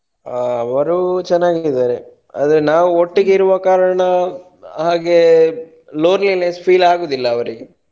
ಆ ಅವ್ರು ಚೆನ್ನಾಗಿದ್ದಾರೆ. ಅಂದ್ರೆ ನಾವು ಒಟ್ಟಿಗೆ ಇರುವ ಕಾರಣ ಹಾಗೆ loneliness feel ಆಗುದಿಲ್ಲ ಅವರಿಗೆ.